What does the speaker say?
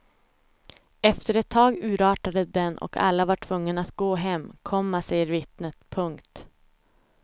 Efter ett tag urartade den och alla var tvungna att gå hem, komma säger vittnet. punkt